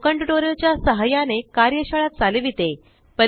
spoken tutorial च्या सहाय्याने कार्यशाळा चालविते